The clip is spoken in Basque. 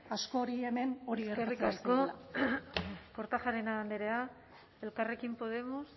askori hemen gertatzen zaiola eskerrik asko kortajarena andrea elkarrekin podemos